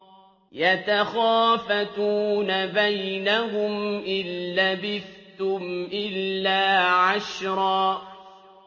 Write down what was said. يَتَخَافَتُونَ بَيْنَهُمْ إِن لَّبِثْتُمْ إِلَّا عَشْرًا